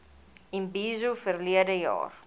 imbizo verlede jaar